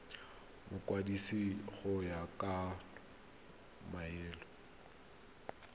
mokwadisi go ya ka molao